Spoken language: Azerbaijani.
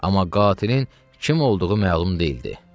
Amma qatilin kim olduğu məlum deyildi.